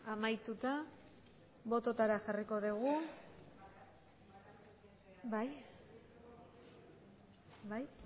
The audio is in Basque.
amaituta bototara jarriko dugu bai bai